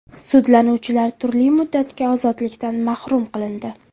Sudlanuvchilar turli muddatga ozodlikdan mahrum qilindi.